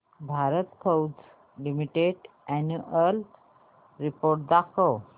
Bharat Forge Limited annual report दाखव